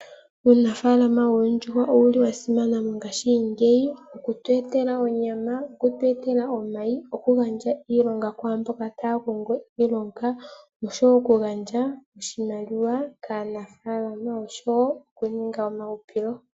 Uunafaalama woondjuhwa owuli wa simana mongaashingeyi, oku tu etela onyama, okutu etela omayi, okugandja iilonga kwaamboka taya kongo iilonga, osho wo okugandja oshimaliwa kaanafaalama noku ninga omauhupilo.